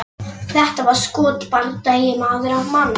Þetta var skotbardagi, maður á mann.